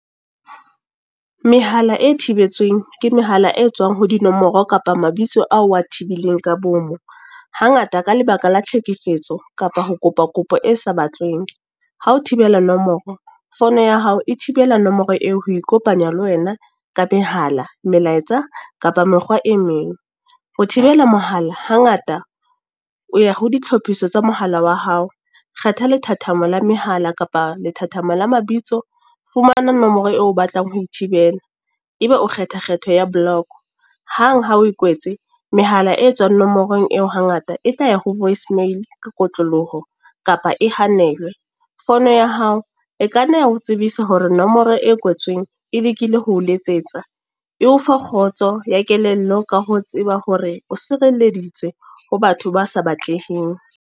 Mehala e thibetsweng, ke mehala e tswang ho dinomoro kapa mabitso ao wa tibileng ka bomo. Hangata ka lebaka la tlhekefetso, kapa ho kopa kopo e sa batleng. Ha o thibela nomoro, phone ya hao e thibela nomoro eo ho ikopanya le wena ka mehala, melaetsa, kapa mekgwa e meng. Ho thibela mohala hangata o ya ho ditlhophiso tsa mohala wa hao. Kgetha lethathamo la mehala kapa lethathama la mabitso. Fumana nomoro eo o batlang ho e thibela. Ebe o kgetha kgetho ya block. Hang ha o e kwetse, mehala e tswang nomorong eo ha ngata e tla ya ho voice mail ka kotloloho, kapa e hanelwe. Phone ya hao, e ka nna ya ho tsebisa hore nomoro e kwetsweng e lekile hoo letsetsa. E o fa kgotso ya kelello ka ho tseba hore o sireleditswe, ho batho ba sa batleheng.